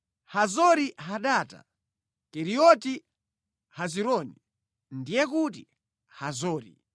Hazori-Hadata, Keriyoti Hezironi (ndiye kuti Hazori)